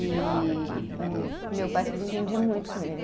E meu pai se desentendia muito com ele.